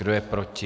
Kdo je proti?